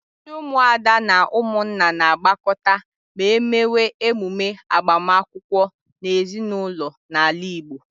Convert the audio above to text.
Ndị ụmụada na ụmụnna na-agbakọta ma emewe emume agbamakwụkwọ n'ezinụlọ n'ala Igbo.